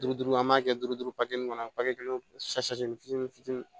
Duuru duuru an b'a kɛ duuru duuru kɔnɔ kelen fitinin fitini